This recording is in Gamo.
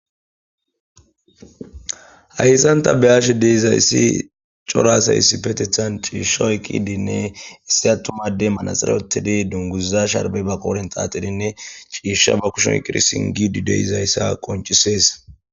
hayssan ta beyash deezayssi cora asay issipetethan ciishsh ooyqidinne issi attuma adey manaxire oykidi dunguza sharbey ba qooren xaaxidinne ciisha ba kushon sirisingidi deeizayssa qoncisees